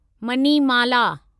Manimala